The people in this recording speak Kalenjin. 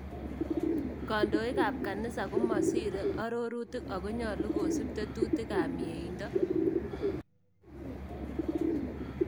Kantooyikaab kanisa komosire aroorutik Ako nyolu kosip tetutiikaab myeindo